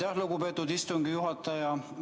Aitäh, lugupeetud istungi juhataja!